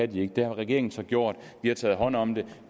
de ikke det har regeringen så gjort vi har taget hånd om det